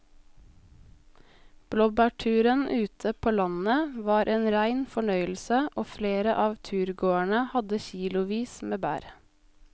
Blåbærturen ute på landet var en rein fornøyelse og flere av turgåerene hadde kilosvis med bær.